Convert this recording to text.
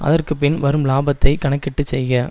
அதற்கு பின் வரும் லாபத்தையும் கணக்கிட்டு செய்க